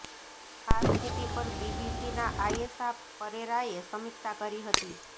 આ સ્થિતિ પર બીબીસીનાં આયેશા પરેરાએ સમીક્ષા કરી હતી